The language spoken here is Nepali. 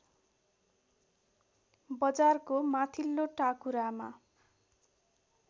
बजारको माथिल्लो टाकुरामा